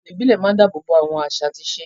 Ètò ìbílẹ̀ máa ń dáàbò bo àwọn àṣà àti ìṣe.